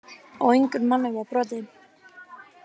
Á engum manni var brotið